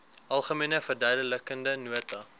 algemene verduidelikende nota